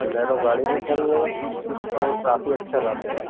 Bolero गाड़ी भी खड़ी है और काफी अच्छा रास्ता है।